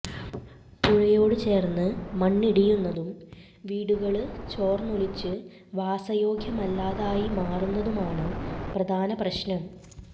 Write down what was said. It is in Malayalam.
പുഴയോടു ചേര്ന്ന് മണ്ണിടിയുന്നതും വീടുകള് ചോര്ന്നൊലിച്ച് വാസയോഗ്യമല്ലാതായി മാറുന്നതുമാണ് പ്രധാന പ്രശ്നങ്ങള്